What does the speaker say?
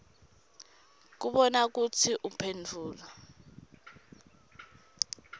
kubona kutsi uphendvula